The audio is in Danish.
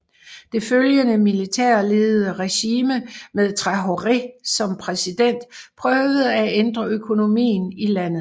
Det følgende militærledede regime med Traoré som præsident prøvede at ændre økonomien i landet